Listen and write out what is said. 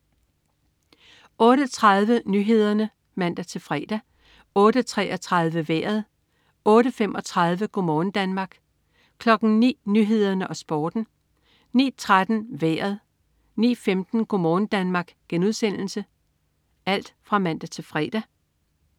08.30 Nyhederne (man-fre) 08.33 Vejret (man-fre) 08.35 Go' morgen Danmark (man-fre) 09.00 Nyhederne og Sporten (man-fre) 09.13 Vejret (man-fre) 09.15 Go' morgen Danmark* (man-fre)